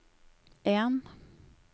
en